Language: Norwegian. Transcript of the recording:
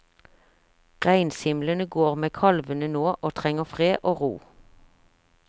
Reinsimlene går med kalvene nå og trenger fred og ro.